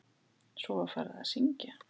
Svo var farið að syngja.